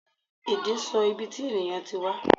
Ẹde sọ ìbí tí ènìyàn tí wá